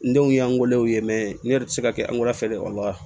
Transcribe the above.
N denw y'an weele u ye n yɛrɛ tɛ se ka kɛ angilɛfɛ de la